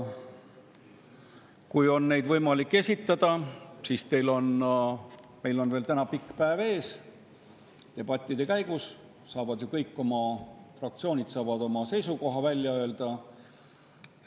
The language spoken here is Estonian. Kui neid on võimalik esitada, siis on meil veel pikk päev ees, debattide käigus saavad ju kõik fraktsioonid oma seisukohad välja öelda.